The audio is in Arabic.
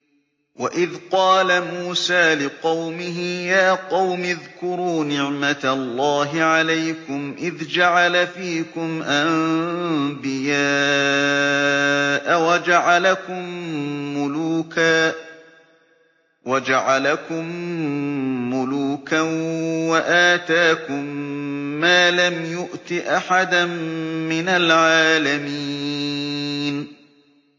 وَإِذْ قَالَ مُوسَىٰ لِقَوْمِهِ يَا قَوْمِ اذْكُرُوا نِعْمَةَ اللَّهِ عَلَيْكُمْ إِذْ جَعَلَ فِيكُمْ أَنبِيَاءَ وَجَعَلَكُم مُّلُوكًا وَآتَاكُم مَّا لَمْ يُؤْتِ أَحَدًا مِّنَ الْعَالَمِينَ